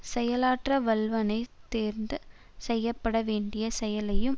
செயலாற்ற வல்லவனை தேர்ந்து செய்ய பட வேண்டிய செயலையும்